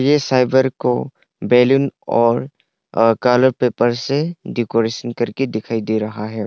ये साइबर को बैलून और अ कलर पेपर से डेकोरेसन करके डिखाई डे रहा है।